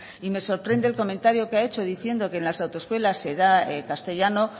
y me sorprende el comentario que ha hecho diciendo que en las autoescuelas se da castellano